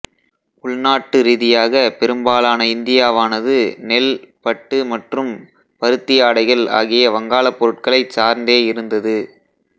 உள்நாட்டு ரீதியாக பெரும்பாலான இந்தியாவானது நெல் பட்டு மற்றும் பருத்தி ஆடைகள் ஆகிய வங்காள பொருட்களை சார்ந்தே இருந்தது